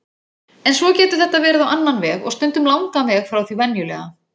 En svo getur þetta verið á annan veg- og stundum langan veg frá því venjulega.